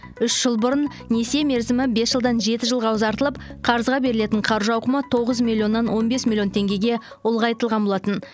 үш жыл бұрын несие мерзімі бес жылдан жеті жылға ұзартылып қарызға берілетін қаржы ауқымы тоғыз миллионнан он бес миллион теңгеге ұлғайтылған болатын